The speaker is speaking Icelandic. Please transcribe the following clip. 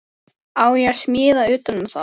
Á ég að smíða utan um það?